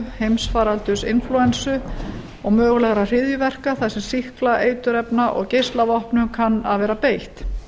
heimsfaraldurs inflúensu og mögulegra hryðjuverka þar sem sýkla eiturefna og geislavopnum kann að vera beitt